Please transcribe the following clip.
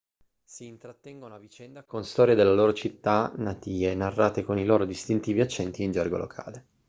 si intrattengono a vicenda con storie delle loro città natie narrate con i loro distintivi accenti e in gergo locale